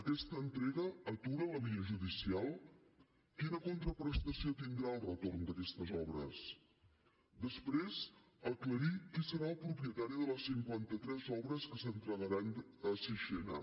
aquesta entrega atura la via judicial quina contraprestació tindrà el retorn d’aquestes obres després aclarir qui serà el propietari de les cinquanta tres obres que s’entregaran a sixena